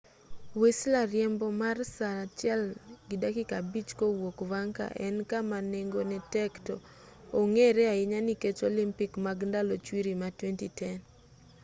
whistler riembo mar saa 1.5 kowuok vancouver en kama nengone tek to ong'ere ahinya nikech olympic mag ndalo chwiri ma 2010